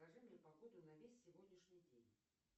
скажи мне погоду на весь сегодняшний день